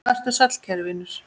Vertu sæll, kæri vinur.